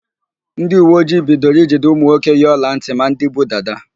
Ndịuweojii bidoro ijide ụmụnwoke yi ọlantị ma ndị bu dada.